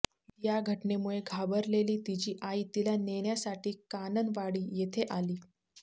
या घटनेमुळे घाबरलेली तिची आई तिला नेण्यासाठी काननवाडी येथे आली